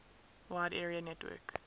wide area network